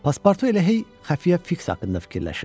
Paspartu elə hey xəfiyyə Fiks haqqında fikirləşirdi.